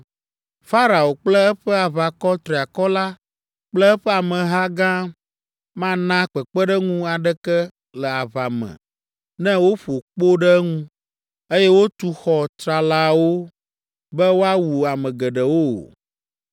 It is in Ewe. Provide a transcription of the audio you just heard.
Farao kple eƒe aʋakɔ triakɔ la kple eƒe ameha gã mana kpekpeɖeŋu aɖeke le aʋa me ne woƒo kpo ɖe eŋu, eye wotu xɔ tsralawo be woawu ame geɖewo o.